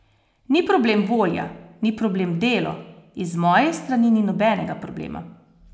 Ni problem volja, ni problem delo, iz moje strani ni nobenega problema.